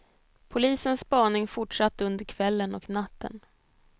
Polisens spaning fortsatte under kvällen och natten.